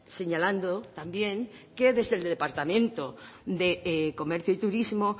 señalando también que desde el departamento de comercio y turismo